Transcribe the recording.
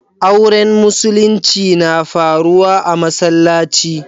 Auren musulinci na faruwa a'masallaci.